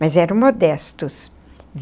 Mas eram modestos.